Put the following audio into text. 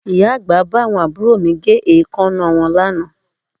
Ìyá àgbà bá àwọn àbúrò mi gé èékánná wọn lánàá